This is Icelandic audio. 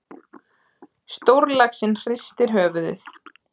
Stórlaxinn hristir höfuðið.